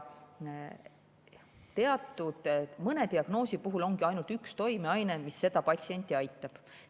Mõne diagnoosi puhul ongi ainult üks toimeaine, mis patsienti aitab.